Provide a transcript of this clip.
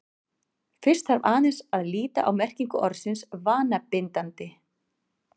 fyrst þarf aðeins að líta á merkingu orðsins „vanabindandi“